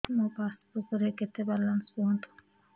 ମୋ ପାସବୁକ୍ ରେ କେତେ ବାଲାନ୍ସ କୁହନ୍ତୁ